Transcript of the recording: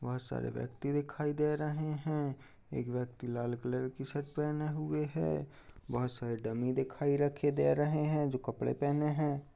बहुत सारे व्यक्ति दिखाई दे रहे हैं एक व्यक्ति लाल कलर की शर्ट पहने हुए है बहुत सारे डमी दिखाई रखे दे रहे हैं जो कपड़े पहने हैं।